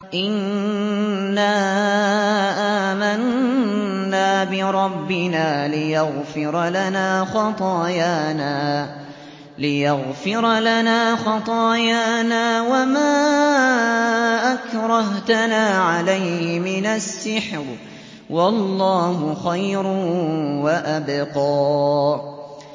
إِنَّا آمَنَّا بِرَبِّنَا لِيَغْفِرَ لَنَا خَطَايَانَا وَمَا أَكْرَهْتَنَا عَلَيْهِ مِنَ السِّحْرِ ۗ وَاللَّهُ خَيْرٌ وَأَبْقَىٰ